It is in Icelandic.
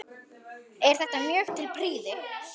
Er þetta mjög til prýði.